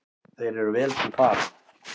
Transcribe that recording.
Þeir eru vel til fara.